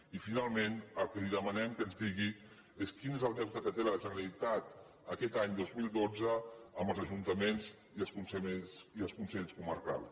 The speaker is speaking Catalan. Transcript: i finalment el que li demanem que ens digui és quin és el deute que té la generalitat aquest any dos mil dotze amb els ajuntaments i els consells comarcals